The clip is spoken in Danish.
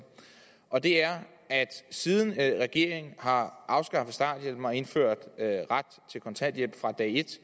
og det er at siden regeringen har afskaffet starthjælpen og indført ret til kontanthjælp fra dag et